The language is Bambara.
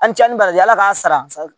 An cɛnni bari ala k'a sara sa